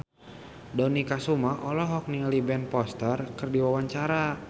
Dony Kesuma olohok ningali Ben Foster keur diwawancara